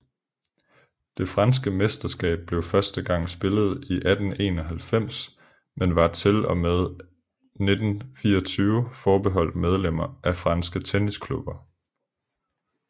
Det franske mesterskab blev første gang spillet i 1891 men var til og med 1924 forbeholdt medlemmer af franske tennisklubber